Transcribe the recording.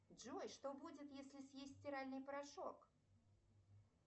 джой что будет если съесть стиральный порошок